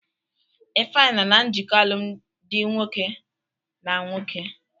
Ifeanyi nọ na njikọ alụmdi nwoke na nwoke.